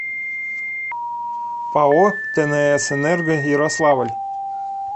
пао тнс энерго ярославль